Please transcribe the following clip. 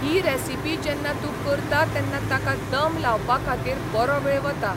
ही recipe जेन्ना तूं करता तेन्ना ताका दम लावपा खातीर बरो वेळ वता.